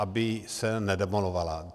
Aby se nedemolovala.